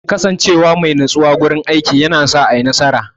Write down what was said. Kasance wa mai natsuwa wurin aiki yana sa a yi nasara.